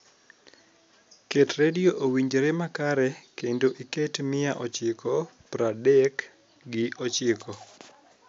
ketredio owinjre ma kare kendo iket mia ochiko praadek gi ochiko